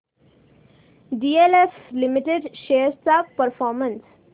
DLF limited shares चा performance